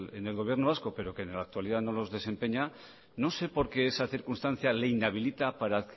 en el gobierno vasco pero que en la actualidad no los desempeña no sé por qué esa circunstancia le inhabilita para